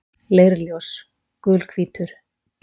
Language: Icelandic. Leirljós: Gulhvítur.